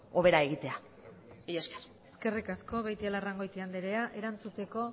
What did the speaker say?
hobera egitea mila esker eskerrik asko beitialarrangoiti andrea erantzuteko